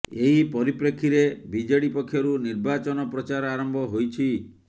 ଏହି ପରିପ୍ରେକ୍ଷୀରେ ବିଜେଡି ପକ୍ଷରୁ ନିର୍ବାଚନ ପ୍ରଚାର ଆରମ୍ଭ ହୋଇଛି